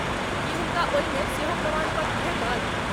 की हुनका ओहिमे सेहो प्रमाणपत्र भेटत?